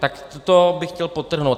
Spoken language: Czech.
Tak to bych chtěl podtrhnout.